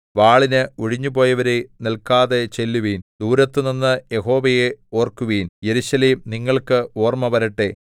വാളിന് ഒഴിഞ്ഞുപോയവരേ നില്‍ക്കാതെ ചെല്ലുവിൻ ദൂരത്തുനിന്ന് യഹോവയെ ഓർക്കുവിൻ യെരൂശലേം നിങ്ങൾക്ക് ഓർമ്മ വരട്ടെ